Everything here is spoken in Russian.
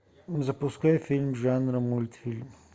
запускай фильм жанра мультфильм